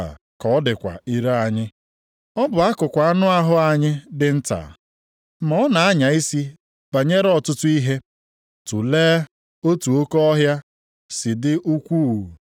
Otu a ka ọ dịkwa ire anyị. Ọ bụ akụkụ anụ ahụ anyị dị nta, ma ọ na-anya isi banyere ọtụtụ ihe. Tulee otu oke ọhịa si dị ukwuu, bụ nke icheku ọkụ dịkarịsịrị nta na-eme ka o nwuru ọkụ.